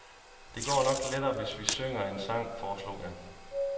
Det går nok lettere hvis vi synger en sang, foreslog jeg.